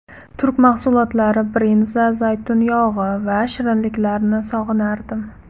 Turk mahsulotlari: brinza, zaytun yog‘i va shirinliklarini sog‘inardim.